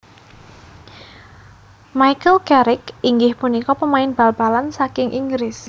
Michael Carrick inggih punika pemain bal balan saking Inggris